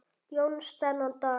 Jóns þennan dag.